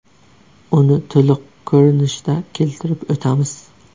Uni to‘liq ko‘rinishda keltirib o‘tamiz.